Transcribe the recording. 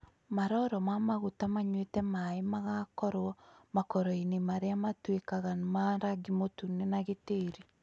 Maroro ma maguta manyuite maĩĩ magakorwo makoroinĩ marĩa matuĩkaga ma rangi mũtune na gĩtĩri